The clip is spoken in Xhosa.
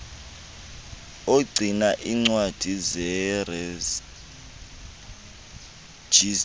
ogcina iincwadi zerejista